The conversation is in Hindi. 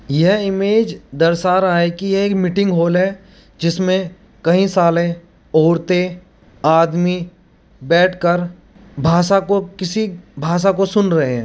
यह इमेज दर्शा रहा है कि एक मीटिंग होल है | जिसमें कई सारे है औरतें आदमी बैठकर भाषा को किसी भाषा को सुन रहे हैं |